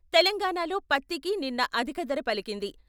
తెలంగాణాలో పత్తికి నిన్న అధికధర పలికింది.